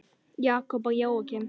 Jakob og Jóakim.